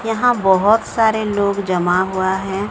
यहां बहोत सारे लोग जमा हुआ है।